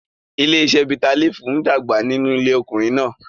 Ilé-iṣẹ́ bitterleaf ń dàgbà nínú ilé ọkùnrin náà.